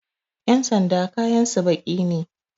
Ƴan sanda kayansu baƙi ne